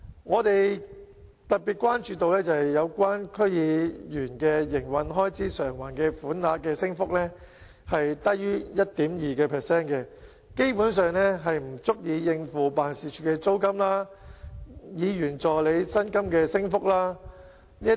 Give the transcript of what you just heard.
我們特別關注到區議員的營運開支償還款額的升幅低於 1.2%， 基本上不足以應付辦事處租金和議員助理薪金升幅等。